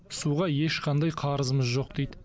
суға ешқандай қарызымыз жоқ дейді